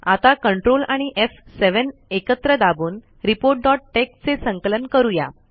आता ctrl आणी एफ7 एकत्र दाबून reportटेक्स चे संकलन करूया